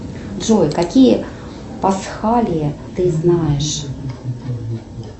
джой какие пасхалии ты знаешь